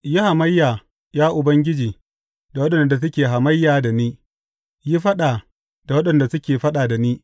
Yi hamayya, ya Ubangiji, da waɗanda suke hamayya da ni; yi faɗa da waɗanda suke faɗa da ni.